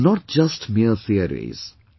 They were not just mere theories